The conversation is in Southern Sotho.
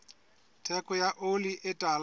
theko ya oli e tala